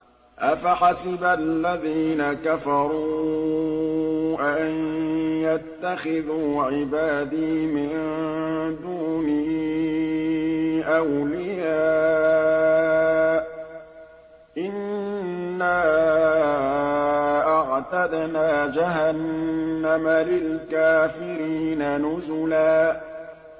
أَفَحَسِبَ الَّذِينَ كَفَرُوا أَن يَتَّخِذُوا عِبَادِي مِن دُونِي أَوْلِيَاءَ ۚ إِنَّا أَعْتَدْنَا جَهَنَّمَ لِلْكَافِرِينَ نُزُلًا